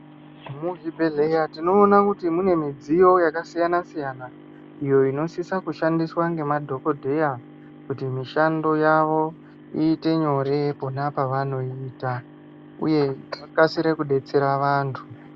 Muzvibhehleya tinoona kuti mune midziyo yakasiyana siyana iyo inosisa kushandiswa ngemadhokodheya kuti mishando yawo iite nyore pona pavanoita uye vakasire kudetsera vantu.